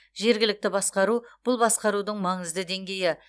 жергілікті басқару бұл басқарудың маңызды деңгейі